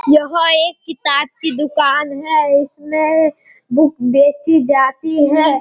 यह एक किताब कि दुकान है इसमें बुक बेची जाती है।